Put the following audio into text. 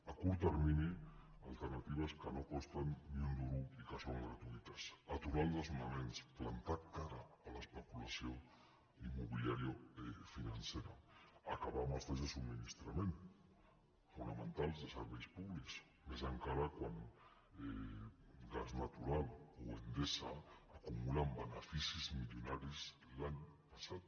a curt termini alternatives que no costen ni un duro i que són gratuïtes aturar els desnonaments plantar cara a l’especulació immobiliària financera acabar amb els talls de subministrament fonamentals de serveis públics més encara quan gas natural o endesa acumulen beneficis milionaris l’any passat